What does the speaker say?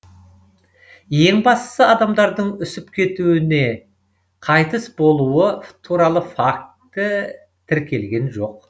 ең бастысы адамдардың үсіп кетуі не қайтыс болуы туралы факті тіркелген жоқ